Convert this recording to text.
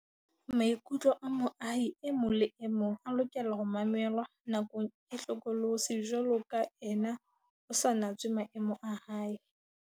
Maikutlo a moahi e mong le e mong a lokela ho mamelwa nakong e hlokolosi jwaloka ena ho sa natswe maemo a hae.